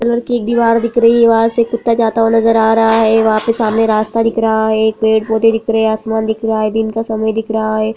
Colour की एक दिवार दिख रही है वहां से कुत्ता जाता हुआ नजर आ रहा है वहां पे सामने रास्ता दिख रहा है पेड़-पौधे दिख रहे है आसमान दिख रहा है दिन का समय दिख रहा है।